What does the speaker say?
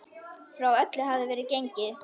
Frá öllu hafði verið gengið.